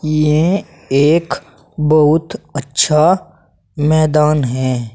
ये एक बहुत अच्छा मैदान है।